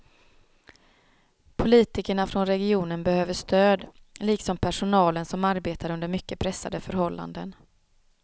Politikerna från regionen behöver stöd, liksom personalen som arbetar under mycket pressade förhållanden.